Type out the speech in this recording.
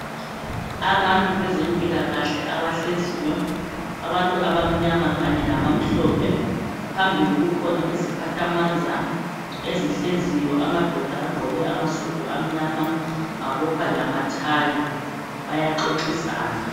Abantu bezempilakahle abahleziyo abantu abamnyama kanye labamhlophe phambili kukhona iziphathamandla ezihleziyo amadoda agqoke amasudu amnyama abopha lamathayi bayaxoxisana